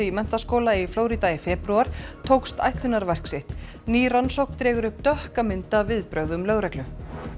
í menntaskóla í Flórída í febrúar tókst ætlunarverk sitt ný rannsókn dregur upp dökka mynd af viðbrögðum lögreglu